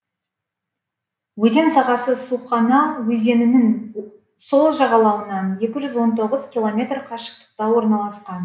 өзен сағасы сухона өзенінің сол жағалауынан екі жүз он тоғыз километр қашықтықта орналасқан